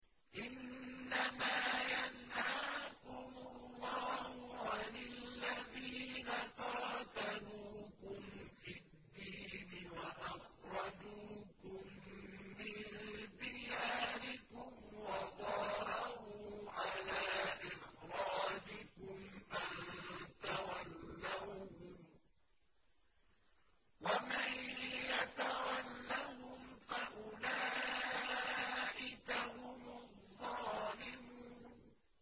إِنَّمَا يَنْهَاكُمُ اللَّهُ عَنِ الَّذِينَ قَاتَلُوكُمْ فِي الدِّينِ وَأَخْرَجُوكُم مِّن دِيَارِكُمْ وَظَاهَرُوا عَلَىٰ إِخْرَاجِكُمْ أَن تَوَلَّوْهُمْ ۚ وَمَن يَتَوَلَّهُمْ فَأُولَٰئِكَ هُمُ الظَّالِمُونَ